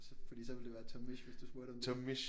Fordi så ville det være Tomish hvis du spurgte om det